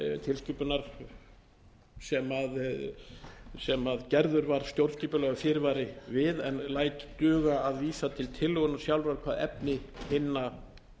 tilskipunar sem gerður var stjórnskipulegur fyrirvari við en gæta duga að vísa til tillögunnar sjálfrar hvað efni hinna